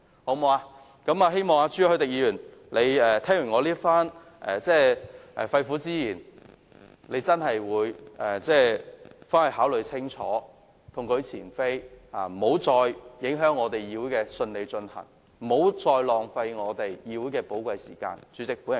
我希望朱凱廸議員聽完我的肺腑之言後會考慮清楚，痛改前非，不要再影響議會的順利進行，不要再浪費議會的寶貴時間。